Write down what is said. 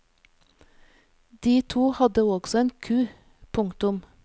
De to hadde også en ku. punktum